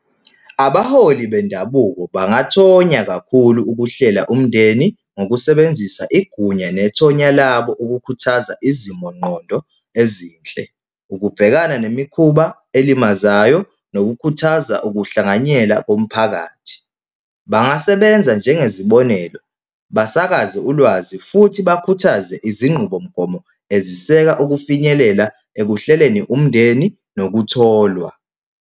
Abaholi bendabuko bangathonya kakhulu ukuhlela umndeni ngokusebenzisa igunya nethonya labo ukukhuthaza izimongqondo ezinhle, ukubhekana nemikhuba elimazayo nokukhuthaza ukuhlanganyela komphakathi. Bangasebenza njengezibonelo, basakaze ulwazi futhi bakhuthaze izinqubomgomo eziseka ukufinyelela ekuhleleni umndeni nokutholwa.